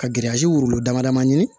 Ka wolo dama daman ɲini